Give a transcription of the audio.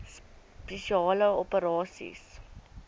spesiale operasies dso